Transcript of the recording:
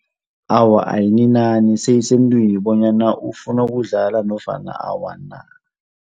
Awa ayininani seyisemntwini bonyana ufuna kudlala nofana awa na.